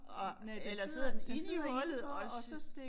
Og eller sidder den inde i hullet også